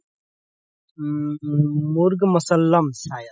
উম murg musallam hindi:languagesayadhindi:language